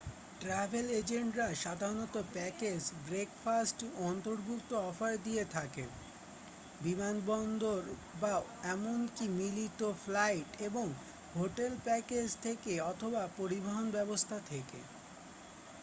Travel এজেন্টরা সাধারণত package breakfast অন্তর্ভুক্ত অফার দিয়ে থাকে বিমানবন্দর বা এমনকি মিলিত ফ্লাইট এবং হোটেল প্যাকেজ থেকে অথবা পরিবহন ব্যবস্থা থেকে ।